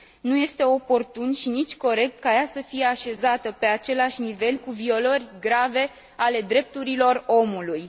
Nu este oportun și nici corect ca ea să fie așezată pe același nivel cu violări grave ale drepturilor omului.